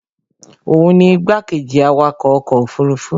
òun ni igbákejì awakọ̀ ọkọ̀ òfurufú